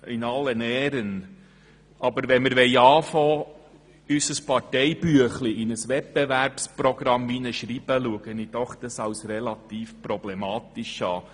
In allen Ehren: Wenn wir damit anfangen, unser Parteibüchlein in ein Wettbewerbsprogramm zu schreiben, sehe ich das als relativ problematisch.